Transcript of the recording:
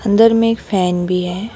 अंदर में एक फैन भी है।